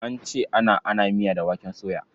An ce ana ana miya da waken soya.